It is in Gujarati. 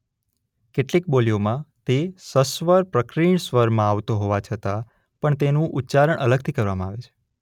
કેટલીક બોલીઓમાં તે સસ્વર પ્રકીર્ણ સ્વરમાં આવતો હોવા છતાં પણ તેનું ઉચ્ચારણ અલગથી કરવામાં આવે છે.